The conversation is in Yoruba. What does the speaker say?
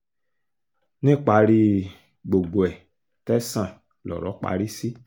níparí gbogbo ẹ̀ tẹ̀sán lọ̀rọ̀ parí sí